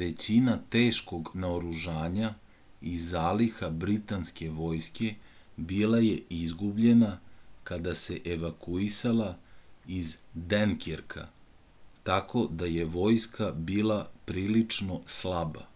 većina teškog naoružanja i zaliha britanske vojske bila je izgubljena kada se evakuisala iz denkerka tako da je vojska bila prilično slaba